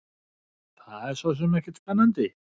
Það er sosum ekkert spennandi.